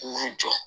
K'u jɔ